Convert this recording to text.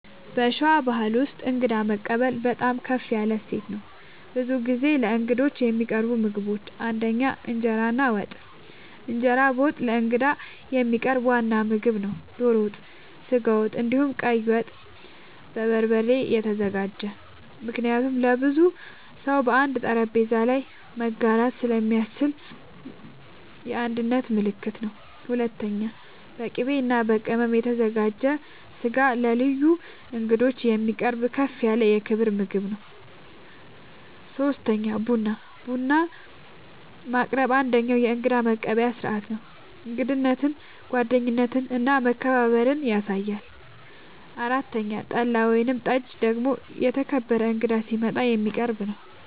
በሸዋ ባሕል ውስጥ እንግዳ መቀበል በጣም ከፍ ያለ እሴት ነው። ብዙ ጊዜ ለእንግዶች የሚቀርቡ ምግቦች ፩) እንጀራ እና ወጥ፦ እንጀራ በወጥ ለእንግዳ የሚቀርብ ዋና ምግብ ነው። ዶሮ ወጥ፣ ስጋ ወጥ፣ እንዲሁም ቀይ ወጥ( በበርበሬ የተዘጋጀ) ምክንያቱም ለብዙ ሰው በአንድ ጠረጴዛ ላይ መጋራት ስለሚያስችል የአንድነት ምልክት ነው። ፪.. በቅቤ እና በቅመም የተዘጋጀ ስጋ ለልዩ እንግዶች የሚቀርብ ከፍ ያለ የክብር ምግብ ነው። ፫. ቡና፦ ቡና ማቅረብ አንደኛዉ የእንግዳ መቀበያ ስርዓት ነው። እንግዳነትን፣ ጓደኝነትን እና መከባበርን ያሳያል። ፬ .ጠላ ወይም ጠጅ ደግሞ የተከበረ እንግዳ ሲመጣ የሚቀረብ ነዉ